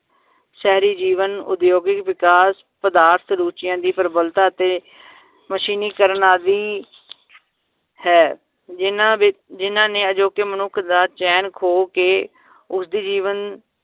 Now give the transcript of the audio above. ਸਾਰੀ ਜੀਵਨ ਉਦਯੋਗਿਕ ਵਿਕਾਸ ਪਦਾਰਥ ਰੁਚੀਆਂ ਦੀ ਪ੍ਰਬਲਤਾ ਅਤੇ ਮਸ਼ੀਨੀਕਰਨ ਆਦੀ ਹੈ ਜਿੰਨਾਂ ਵਿਚ ਜਿੰਨਾਂ ਨੇ ਅਜੋਕੇ ਮਨੁੱਖ ਦਾ ਚੈਨ ਖੋ ਕੇ ਉਸ ਦੀ ਜੀਵਨ